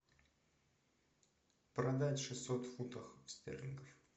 продать шестьсот фунтов стерлингов